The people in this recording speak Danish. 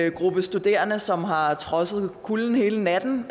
en gruppe studerende som har trodset kulden hele natten